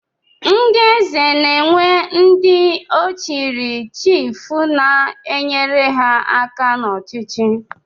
Ndị Eze na-enwe ndị ọ chiri chiif na-enyere ha aka n'ọchịchị